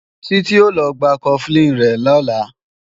Títí ó lọ gba Cofflin rẹ̀ lọ́la